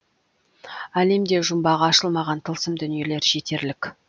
әлемде жұмбағы ашылмаған тылсым дүниелер жетерлік